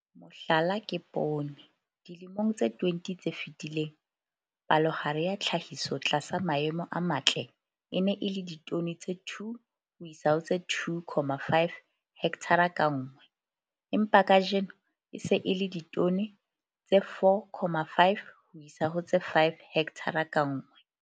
Mohlala ke poone - dilemong tse 20 tse fetileng, palohare ya tlhahiso tlasa maemo a matle e ne e le ditone tse 2 ho isa ho tse 2,5 hekthara ka nngwe, empa kajeno e se e le ditone tse 4,5 ho isa ho tse 5 hekthara ka nngwe.